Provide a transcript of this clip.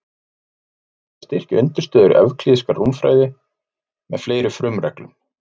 Því hefur þurft að styrkja undirstöður evklíðskrar rúmfræði með fleiri frumreglum.